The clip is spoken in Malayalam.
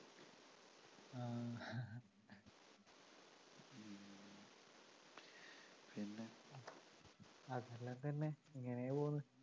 ഇതെല്ലം തന്നെ ഇങ്ങനെ പോവുന്നു